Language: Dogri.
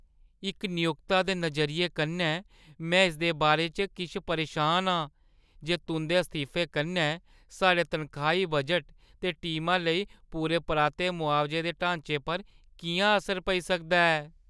इक नियोक्ता दे नजरिये कन्नै, मैं इसदे बारे च किश परेशान आं जे तुंʼदे इस्तीफे कन्नै साढ़े तनखाही बजट ते टीमा लेई पूरे-पराते मुआवजे दे ढांचे पर किʼयां असर पेई सकदा ऐ।